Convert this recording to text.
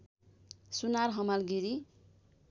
सुनार हमाल गिरी